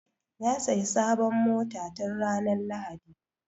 Ya sayi sabon mota tun ranar lahadi